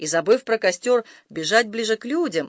и забыв про костёр бежать ближе к людям